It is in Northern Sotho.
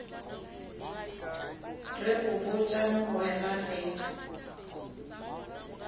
re go botša mogwera re